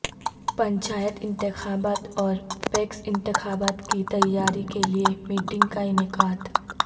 پنچایت انتخابات اور پیکس انتخابات کی تیاری کے لئے میٹنگ کا انعقاد